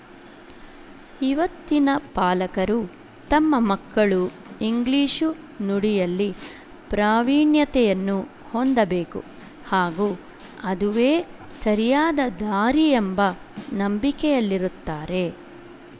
ಇವತ್ತಿನ ಪಾಲಕರು ತಮ್ಮ ಮಕ್ಕಳು ಇಂಗ್ಲಿಶು ನುಡಿಯಲ್ಲಿ ಪ್ರಾವೀಣ್ಯತೆಯನ್ನು ಹೊಂದಬೇಕು ಹಾಗೂ ಅದುವೇ ಸರಿಯಾದ ದಾರಿಯೆಂಬ ನಂಬಿಕೆಯಲ್ಲಿರುತ್ತಾರೆ